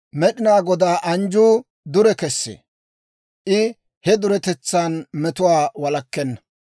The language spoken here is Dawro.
Med'inaa Godaa anjjuu dure kessee; I he duretetsan metuwaa walakkenna.